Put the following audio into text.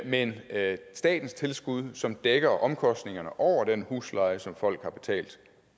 men at statens tilskud som dækker omkostningerne over den husleje som folk har betalt